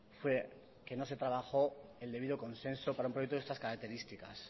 fue que no se trabajó el debido consenso para un proyecto de estas características